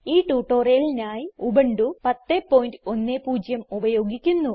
ഈ ട്യൂട്ടോറിയലിനായി ഉബുന്റു 1010 ഉപയോഗിക്കുന്നു